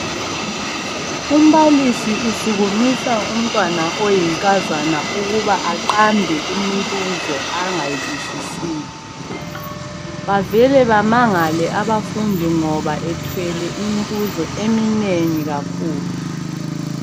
Umbalisi usuku Isa umntwana oyinkazana ukuba aqambe imibuzo angayizwisisiyo avele Bama ngale abafundi ngoba ethwele imibuzo eminengi kakhulu.